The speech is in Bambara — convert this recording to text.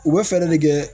U bɛ fɛɛrɛ de kɛ